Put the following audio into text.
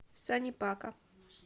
сани пака